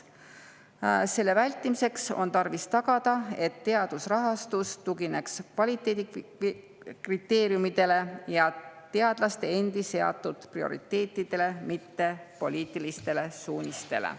Selle vältimiseks on tarvis tagada, et teadusrahastus tugineks kvaliteedikriteeriumidele ja teadlaste endi seatud prioriteetidele, mitte poliitilistele suunistele.